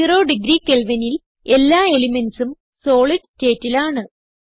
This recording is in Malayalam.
സീറോ ഡിഗ്രി Kelvinൽ എല്ലാ elementsഉം സോളിഡ് സ്റ്റേറ്റിൽ ആണ്